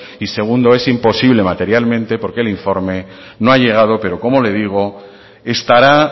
y segundo es imposible materialmente porque el informe no ha llegado pero como le digo estará